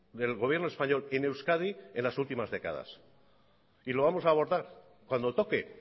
del gobierno español en euskadi en las últimas décadas y lo vamos a abordar cuando toque